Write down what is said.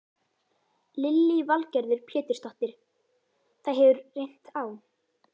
Lillý Valgerður Pétursdóttir: Það hefur reynt á?